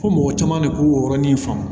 Ko mɔgɔ caman de ko yɔrɔnin faamu